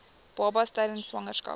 baba tydens swangerskap